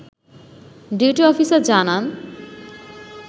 duty officer জানান